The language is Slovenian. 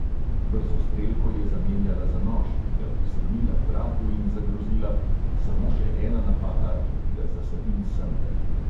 Brzostrelko je zamenjala za nož, mi ga prislonila k vratu in zagrozila: "samo še ena napaka in ti ga zasadim semle!"